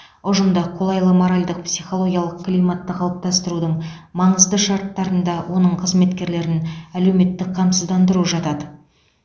ұжымда қолайлы моральдық психологиялық климатты қалыптастырудың маңызды шарттарына оның қызметкерлерін әлеуметтік қамсыздандыру жатады